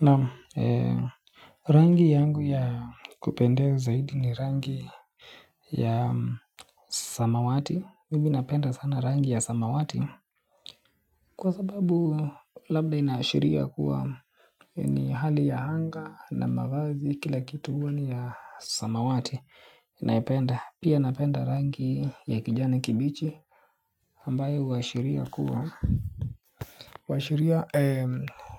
Naam, rangi yangu ya kupendeza zaidi ni rangi ya samawati mimi napenda sana rangi ya samawati kwa sababu labda inaashiria kuwa ni hali ya anga na mavazi kila kitu huwa ni ya samawati naipenda, pia napenda rangi ya kijani kibichi ambayo huashiria kuwa, huashiria